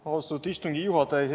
Austatud istungi juhataja!